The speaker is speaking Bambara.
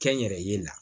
Kɛnyɛrɛye la